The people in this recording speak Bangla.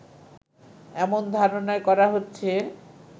এমন ধারণাই করা হচ্ছে